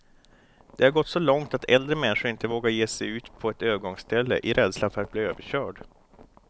Det har gått så långt att äldre människor inte vågar ge sig ut på ett övergångsställe, i rädslan för att bli överkörd.